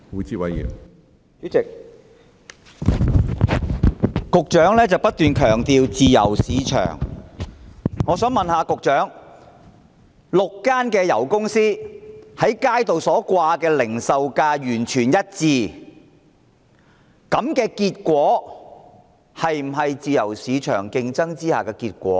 主席，局長不斷強調自由市場，我想問局長 ，6 間油公司在油站所展示的零售價完全一致，這樣是否自由市場競爭下的結果？